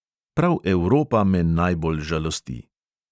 Prav evropa me najbolj žalosti.